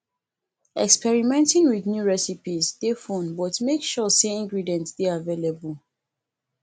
experimenting with new recipes dey fun but make sure say ingredients dey available